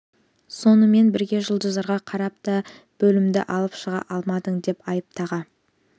сонымен бірге жұлдыздарға қарап та бөлімді алып шыға алмадың деп айып таға